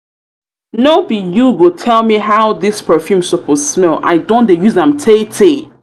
no be you go tell me how this perfume suppose smell i don dey use um am tay tay